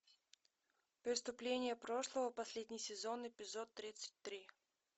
преступление прошлого последний сезон эпизод тридцать три